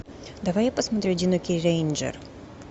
давай я посмотрю одинокий рейнджер